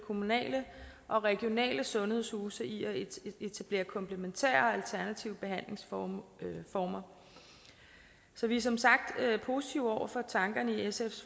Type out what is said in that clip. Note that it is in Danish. kommunale og regionale sundhedshuse i at etablere komplementære og alternative behandlingsformer så vi er som sagt positive over for tankerne i sfs